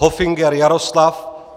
Hofinger Jaroslav